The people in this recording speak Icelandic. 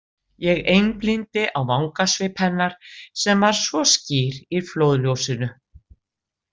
Ég einblíndi á vangasvip hennar sem var svo skýr í flóðljósinu.